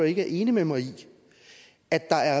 ikke er enig med mig i at der